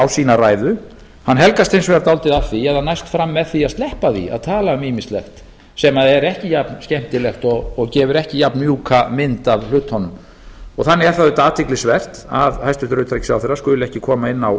á sína ræðu helgast hins vegar dálítið af því að hann næst fram með því að sleppa því að tala um ýmislegt sem er ekki jafnskemmtilegt og gefur ekki jafnmjúka mynd af hlutunum þannig er það auðvitað athyglisvert að hæstvirtur utanríkisráðherra skuli ekki koma inn á